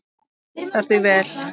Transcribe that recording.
Hún hentar því vel.